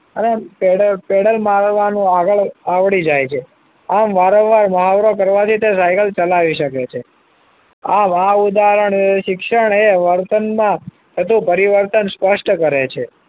અને પેન્ડલ મારવાનું આગળ આવડી જાય છે આમ વારંવાર મુહાવરો કરવાથી તે સાયકલ ચલાવી શકે છે આવા ઉદાહરણ એ શિક્ષણ એ વર્તનમાં થતું પરિવર્તન સ્પષ્ટ કરે છે